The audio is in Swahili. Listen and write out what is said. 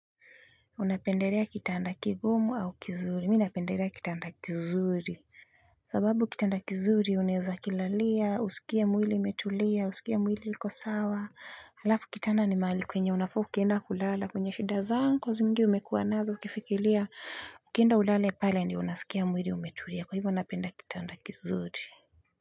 Unapendelea kitanda kigumu au kizuri, mi napendelea kitanda kizuri sababu kitanda kizuri unaweza kilalia, usikie mwili imetulia, usikie mwili liko sawa halafu kitanda ni mahali kwenye unafaa ukienda kulala kwenye shida zako nyingi umekua nazo ukifikiria ukienda ulale pale ni unasikia mwili umetulia kwa hivyo napenda kitanda kizuri.